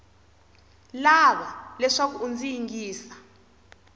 lava leswaku u ndzi yingisa